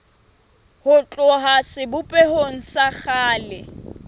ho tloha sebopehong sa kgale